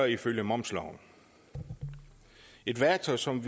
ifølge momsloven et værktøj som